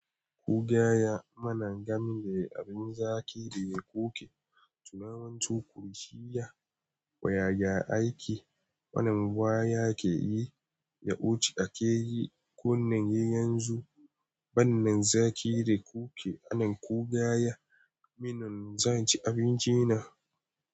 Kugaya mana gam da abin zaƙi da yake kuke, tunawanci kurjiya wa yaya ake, wannan waya ke yi, ya ceci ake yi, ko nan yayi yanzu, wannan zaƙi da kuke, wannan kugaya, minan zan ci abinci na.